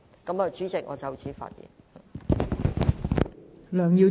代理主席，我謹此陳辭。